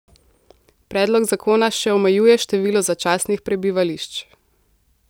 Predlog zakona še omejuje število začasnih prebivališč.